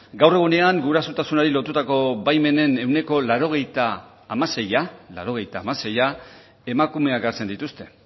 gaur egunean gurasotasunari lotutako baimenen ehuneko laurogeita hamaseia emakumeak hartzen dituzte